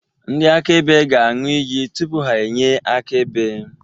Ndị akaebe ga-aṅụ iyi tupu ha enye akaebe.